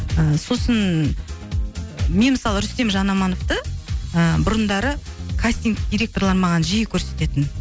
ыыы сосын мен мысалы рүстем жанамановты ыыы бұрындары кастинг директорлары маған жиі көрсететін